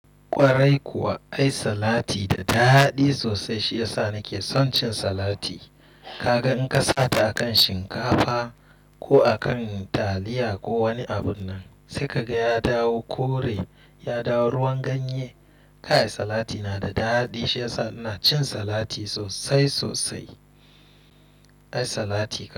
Kwarai kuwa, ai salati da daɗi sosai shi yasa nake son cin salati. Kaga in ka sata a kan shinkafa ko a kan taliya ko wani abu nan sai kaga ya dawo kore, ya dawo ruwan ganye. Kai salati na da daɗi shi yasa ina cin salati sosai sosai. Ai salati kaɗai.